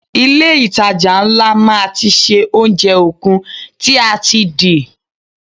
Ilé itàjà ńlá máa ti ṣe oúnjẹ okun tí a ti di.